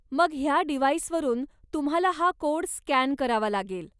मग ह्या डिव्हाइसवरून तुम्हाला हा कोड स्कॅन करावा लागेल.